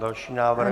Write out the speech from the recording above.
Další návrh.